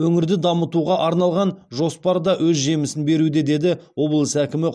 өңірді дамытуға арналған жоспар да өз жемісін беруде деді облыс әкімі